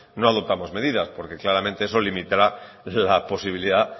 no adoptamos medidas porque claramente eso limitará la posibilidad